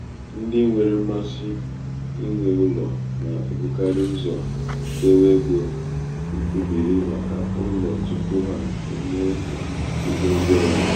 ndị nwère mmasị inwe ụlò nà-èbukarị ụzò èdewe egō ṅkwụbìrì màkà ụlọ̀ tupu ha emee mkpà egō ndị ọzọ.